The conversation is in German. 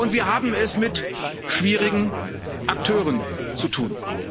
Wir haben es mit schwierigen Akteuren zu tun.